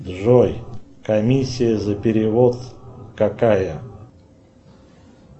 джой комиссия за перевод какая